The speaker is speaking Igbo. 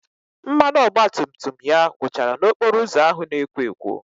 Mmanụ ọgbatumtum ya gwụchara n'okporo ụzọ ahụ na-ekwo ekwo